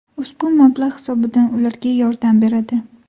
Ushbu mablag‘ hisobidan ularga yordam beradi.